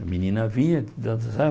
A menina vinha, dançar